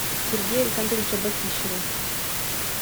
сергея александровича батищева